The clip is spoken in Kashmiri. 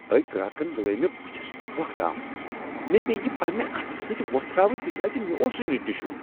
أکۍ گراکن لٲیۍ مےٚ بُتھِس تھۄكَھ تام۔ مےٚ پییہِ یہِ پننہِ اتھہٕ سٕتۍ ووٚتھراوٕنۍ تِکیازِ مےٚ اوس نہٕ ٹشو۔